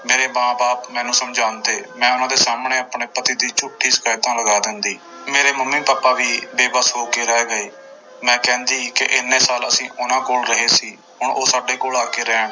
ਮੇਰੇ ਮਾਂ ਬਾਪ ਮੈਨੂੰ ਸਮਝਾਉਂਦੇ, ਮੈਂ ਉਹਨਾਂ ਦੇ ਸਾਹਮਣੇ ਆਪਣੇ ਪਤੀ ਦੀ ਝੂਠੀ ਸ਼ਿਕਾਇਤਾਂ ਲਗਾ ਦਿੰਦੀ, ਮੇਰੇ ਮੰਮੀ ਪਾਪਾ ਵੀ ਬੇਬਸ ਹੋ ਕੇ ਰਹਿ ਗਏ, ਮੈਂ ਕਹਿੰਦੀ ਕਿ ਇੰਨੇ ਸਾਲ ਅਸੀਂ ਉਹਨਾਂ ਕੋਲ ਰਹੇ ਸੀ ਹੁਣ ਉਹ ਸਾਡੇ ਕੋਲ ਆ ਕੇ ਰਹਿਣ।